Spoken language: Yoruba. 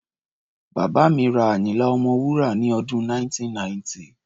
Bàbá mi rí Àyínlá Ọmọwúrà ní ọdún 1990.